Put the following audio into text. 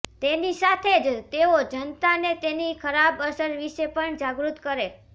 તેની સાથે જ તેઓ જનતાને તેની ખરાબ અસર વિશે પણ જાગૃત કરે